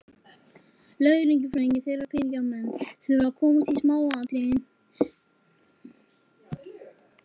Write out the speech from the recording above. Lögfræðingar þeirra og peningamenn þurfa að komast í smáatriðin.